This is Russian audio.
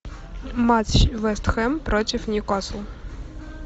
матч вест хэм против ньюкасл